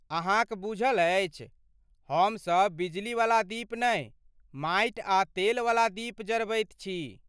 अहाँक बूझल अछि, हमसभ बिजलीवला दीप नहि माटि आ तेल वला दीप जरबैत छी।